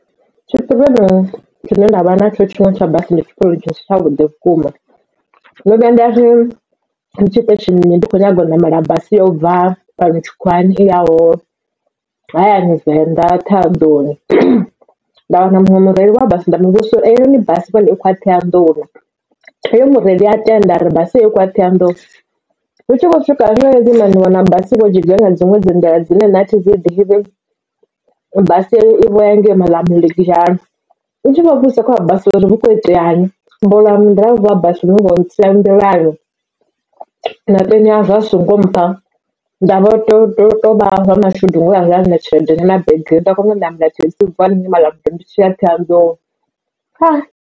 Tshi pirioni tshinwe tshine nda vha na tsho tsha mabasi ndi tshipironi tshi si tsha vhuḓi vhukuma ndo vhuya nda ri ndi tshi phesheni ndi kho nyaga u ṋamela basi ya ubva fhano tshikhuwani i yaho hayani venḓa Ṱhohoyanḓou. Nda wana muṅwe mureili wa basi nda muvhudza uri ei noni basi i khou ya Ṱhohoyandou oyo mureili a tenda ari basi i khou ya Ṱhohoyandou, hu tshi khou swika hangei hunwe ndiwana basi ivho dzhiga nga dziṅwe dzi nḓila dzine nṋe athi dzi ḓivhi basi heyo ivho ya ngei Malamulele ndi tshi vho vhudzisa kha wa basi uri hu kho iteani ḓiraiva wa basi ndi uvho ntsia nḓilani na peni ya zwo a songo mpha. Ndavho to tovha wa mashudu ngori nda ndi na tshelede nyana begeni nda khona u namela thekhisi ya ubva hanengei Malamulele ndi tshi ya Ṱhohoyandou haa.